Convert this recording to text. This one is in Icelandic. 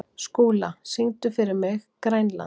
Skúla, syngdu fyrir mig „Grænland“.